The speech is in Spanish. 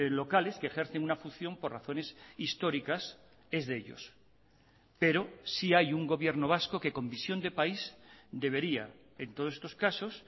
locales que ejercen una función por razones históricas es de ellos pero sí hay un gobierno vasco que con visión de país debería en todos estos casos